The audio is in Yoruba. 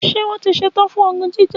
Ṣé wón tí ṣetán fún ogun jíjà